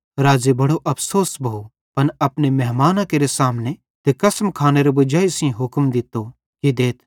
राज़े बड़ो अफ़सोस भोव पन अपने मेहमाना केरे सामने ते कसम खानेरी वजाई सेइं हुक्म दित्तो कि देथ